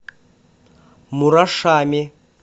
мурашами